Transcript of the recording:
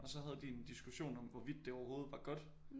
Og så havde de en diskussion om hvorvidt det overhovedet var godt